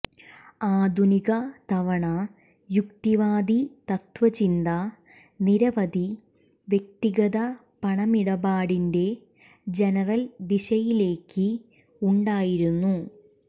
ആധുനിക തവണ യുക്തിവാദി തത്ത്വചിന്ത നിരവധി വ്യക്തിഗത പണമിടപാടിന്റെ ജനറൽ ദിശയിലേക്ക് ഉണ്ടായിരുന്നു